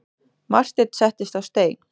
Marteinn settist á stein.